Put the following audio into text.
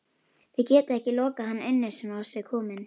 Þið getið ekki lokað hann inni svona á sig kominn